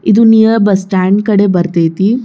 ಇದು near bus stand ಕಡಿ ಬರತೈತಿ.